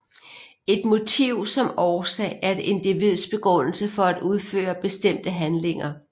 Et motiv som årsag er et individs begrundelse for at udføre bestemte handlinger